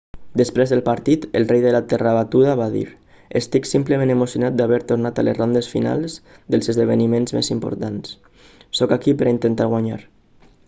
després del partit el rei de la terra batuda va dir estic simplement emocionat d'haver tornat a les rondes finals dels esdevniments més importants sóc aquí per a intentar guanyar